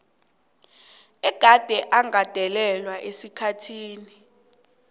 egade agandelelwe esikhathini